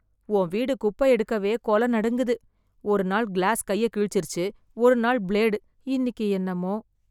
உன் வீடு குப்பை எடுக்கவே குலை நடுங்குது. ஒரு நாள் கிளாஸ் கைய கிழிச்சுருச்சு, ஒரு நாள் பிளேடு, இன்னிக்கு என்னமோ!